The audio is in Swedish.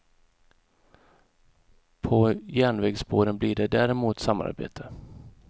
På järnvägsspåren blir det däremot samarbete.